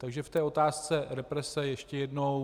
Takže k té otázce represe ještě jednou.